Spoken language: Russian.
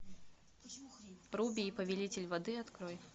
руби и повелитель воды открой